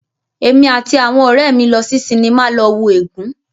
Èmi àti àwọn ọ̀rẹ́ mí lọ sí sinimá lọ wo "Ègún".